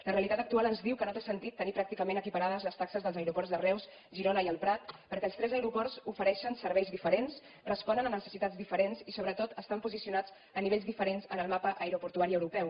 la realitat actual ens diu que no té sentit tenir pràcticament equiparades les taxes dels aeroports de reus girona i el prat perquè els tres aeroports ofereixen serveis diferents responen a necessitats diferents i sobretot estan posicionats a nivells diferents en el mapa aeroportuari europeu